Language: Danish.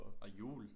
Og hjul